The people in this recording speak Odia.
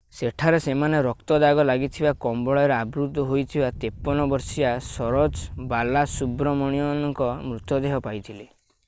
ସେଠାରେ ସେମାନେ ରକ୍ତ ଦାଗ ଲାଗିଥିବା କମ୍ବଳରେ ଆବୃତ ହୋଇଥିବା 53 ବର୍ଷୀୟା ସରୋଜା ବାଲାସୁବ୍ରମଣ୍ୟନଙ୍କ ମୃତଦେହ ପାଇଥିଲେi